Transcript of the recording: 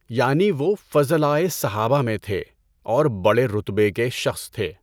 یعنی وہ فضلائے صحابہ میں تھے اور بڑے رتبہ کے شخص تھے۔